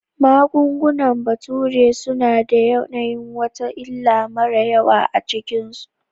Magungunan bature suna da yanayin wata illa mara yawa a cikinsu